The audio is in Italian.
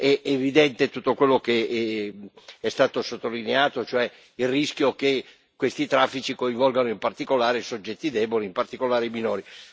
È evidente tutto quello che è stato sottolineato, cioè il rischio che questi traffici coinvolgano in particolare i soggetti deboli, in particolare i minori.